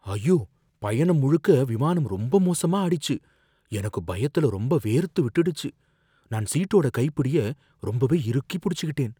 ஐயோ, பயணம் முழுக்க விமானம் ரொம்ப மோசமா ஆடிச்சு. எனக்கு பயத்துல ரொம்ப வேர்த்து விட்டுடுச்சு, நான் சீட்டோட கைப்பிடிய ரொம்பவே இறுக்கி புடிச்சுக்கிட்டேன்.